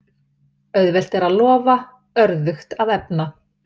Auðvelt er að lofa, örðugt að efna.